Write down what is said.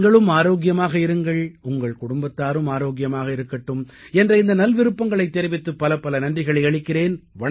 நீங்களும் ஆரோக்கியமாக இருங்கள் உங்கள் குடும்பத்தாரும் ஆரோக்கியமாக இருக்கட்டும் என்ற இந்த நல்விருப்பங்களைத் தெரிவித்து பலப்பல நன்றிகளை அளிக்கிறேன்